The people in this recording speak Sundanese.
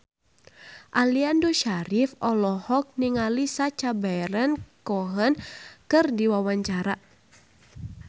Aliando Syarif olohok ningali Sacha Baron Cohen keur diwawancara